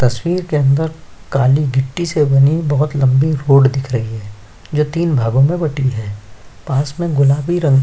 तस्वीर के अंदर काली गिट्टी से बनी बोहोत लम्बी रोड दिख रही है जो तीन भागों में बटी है पास में गुलाबी रंग --